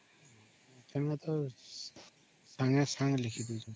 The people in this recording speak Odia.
ଏବେ ତ ସଂଗେ ସାଙ୍ଗେ ଲେଖି ଡଉଛନ୍ତି